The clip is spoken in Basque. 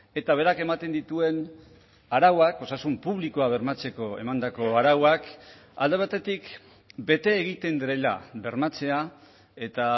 eta berak ematen dituen arauak osasun publikoa bermatzeko emandako arauak alde batetik bete egiten direla bermatzea eta